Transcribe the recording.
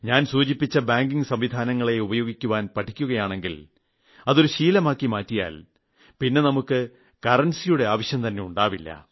ഞാൻ സൂചിപ്പിച്ച ബാങ്കിംഗ് സംവിധാനങ്ങളെ ഉപയോഗിക്കുവാൻ പഠിക്കുകയാണെങ്കിൽ അത് ഒരു ശീലമാക്കി മാറ്റിയാൽ നമുക്ക് പിന്നെ കറൻസിയുടെ ആവശ്യംതന്നെ ഉണ്ടാവില്ല